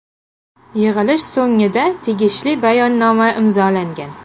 Yig‘ilish so‘ngida tegishli bayonnoma imzolangan.